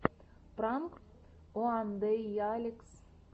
пранк уандэйалекс